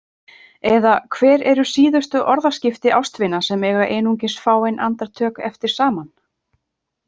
Eða, hver eru síðustu orðaskipti ástvina sem eiga einungis fáein andartök eftir saman?